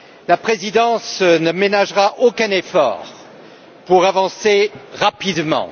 La présidence ne ménagera aucun effort pour avancer rapidement.